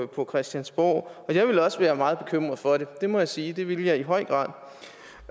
på christiansborg og jeg ville også være meget bekymret for det det må jeg sige det ville jeg i høj grad